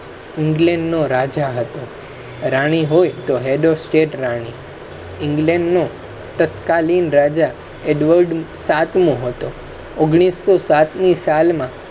england રાજા હતો રાની હોય head of state રાની. england નો edward તત્કાલીન રાજા સાતમો હતો ઓગણીસો સાત ની સાલ માં